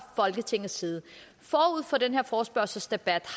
folketingets side forud for den her forespørgselsdebat